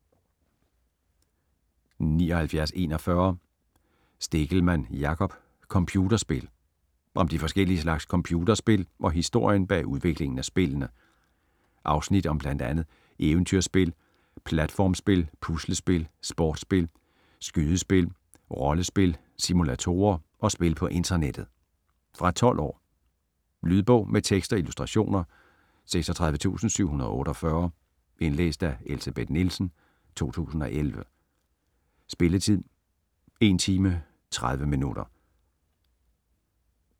79.41 Stegelmann, Jakob: Computerspil Om de forskellige slags computerspil og historien bag udviklingen af spillene. Afsnit om bl.a. eventyrspil, platformsspil, puslespil, sportsspil, skydespil, rollespil, simulatorer og spil på internettet. Fra 12 år. Lydbog med tekst og illustrationer 36748 Indlæst af Elsebeth Nielsen, 2011. Spilletid: 1 timer, 30 minutter.